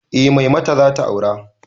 Eh mai mata zata aura